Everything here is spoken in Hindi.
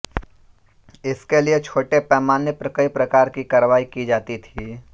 इसके लिए छोटे पैमाने पर कई प्रकार की कार्रवाई की जाती थी